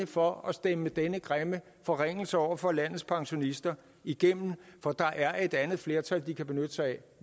for at stemme denne grimme forringelse over for landets pensionister igennem for der er et andet flertal de kan benytte sig af